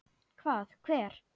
Hvað, hver?